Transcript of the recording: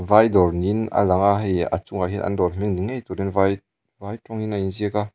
vai dawr niin a lang a hei a chungah hian an dawr hming ni ngei turin vai vai tawngin a inziak a.